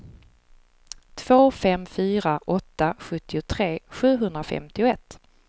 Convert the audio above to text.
två fem fyra åtta sjuttiotre sjuhundrafemtioett